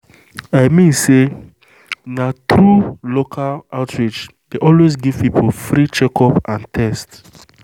i mean say na true local outreach dey always give people free checkup and test.